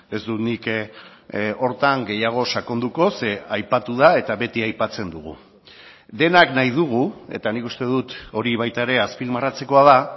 ez dut nik horretan gehiago sakonduko ze aipatu da eta beti aipatzen dugu denak nahi dugu eta nik uste dut hori baita ere azpimarratzekoa da